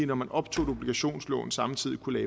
når man optog et obligationslån samtidig kunne